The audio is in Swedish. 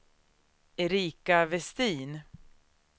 Erika Westin